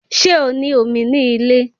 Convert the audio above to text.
Ṣé o ní omi ní ilé